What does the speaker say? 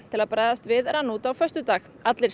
til að bregðast við rann út á föstudag allir